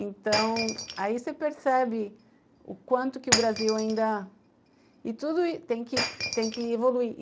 Então, aí você percebe o quanto que o Brasil ainda... E tudo tem que tem que evoluir.